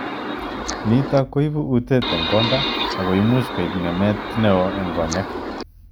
Nitok ko ipo utet ing konda ako much koip ngemet neo ing konyek.